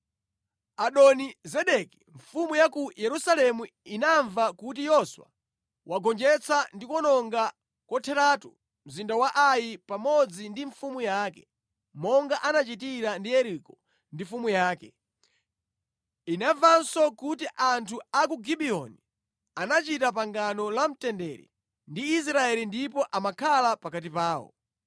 Adoni-Zedeki mfumu ya ku Yerusalemu inamva kuti Yoswa wagonjetsa ndi kuwononga kotheratu mzinda wa Ai pamodzi ndi mfumu yake, monga anachitira ndi Yeriko ndi mfumu yake. Inamvanso kuti anthu a ku Gibiyoni anachita pangano la mtendere ndi Israeli ndipo amakhala pakati pawo.